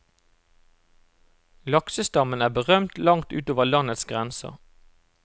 Laksestammen er berømt langt utover landets grenser.